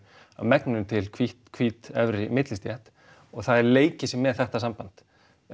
að megninu til hvít hvít efri millistétt og það er leikið sér með þetta samband